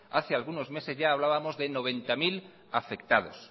hace algunos meses ya hablábamos de noventa mil afectados